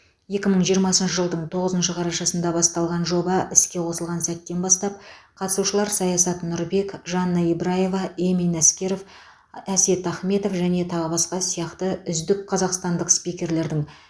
екі мың жиырмасыншы жылдың тоғызыншы қарашасында басталған жоба іске қосылған сәттен бастап қатысушылар саясат нұрбек жанна ибраева эмин әскеров әсет ахметов және тағы басқа сияқты үздік қазақстандық спикерлердің